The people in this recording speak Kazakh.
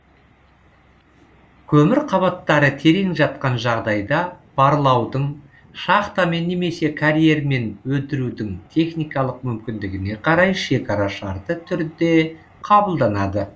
көмір қабаттары терең жатқан жағдайда барлаудың шахтамен немесе карьермен өндірудің техникалық мүмкіндігіне қарай шекара шартты түрде қабылданады